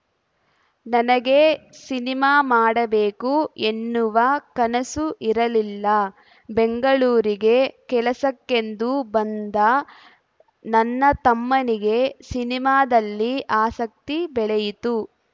ನನಗೆ ಸಿನಿಮಾ ಮಾಡಬೇಕು ಎನ್ನುವ ಕನಸು ಇರಲ್ಲಿಲ ಬೆಂಗಳೂರಿಗೆ ಕೆಲಸಕ್ಕೆಂದು ಬಂದ ನನ್ನ ತಮ್ಮನಿಗೆ ಸಿನಿಮಾದಲ್ಲಿ ಆಸಕ್ತಿ ಬೆಳೆಯಿತು